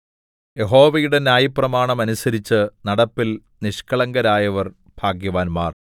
യഹോവയുടെ ന്യായപ്രമാണം അനുസരിച്ച് നടപ്പിൽ നിഷ്കളങ്കരായവർ ഭാഗ്യവാന്മാർ